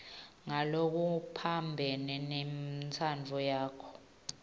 ngalokuphambene nentsandvo yakho